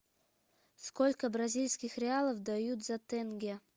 сколько бразильских реалов дают за тенге